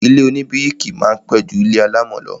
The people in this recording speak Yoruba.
Ilé oníbíríkì máa pẹ́ ju ilé alámọ̀ lọ